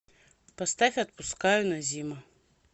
поставь отпускаю назима